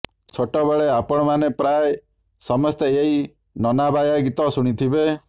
ଛୋଟବେଳେ ଆପଣମାନେ ପ୍ରାୟେ ସମସ୍ତେ ଏହି ନନାବାୟା ଗୀତ ଶୁଣିଥିବେ